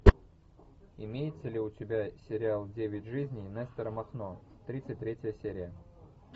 имеется ли у тебя сериал девять жизней нестора махно тридцать третья серия